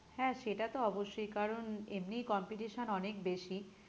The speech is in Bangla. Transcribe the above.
হ্যাঁ সেটা তো অবশ্যই কারণ এমনিই competition অনেক বেশি